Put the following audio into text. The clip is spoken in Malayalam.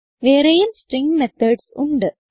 വേറെയും സ്ട്രിംഗ് മെത്തോഡ്സ് ഉണ്ട്